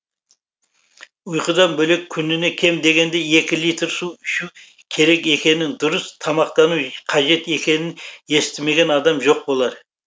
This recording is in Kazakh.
ұйқыдан бөлек күніне кем дегенде екі литр су ішу керек екенін дұрыс тамақтану қажет екенін естімеген адам жоқ болар